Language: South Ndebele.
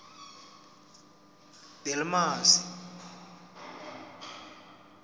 delmasi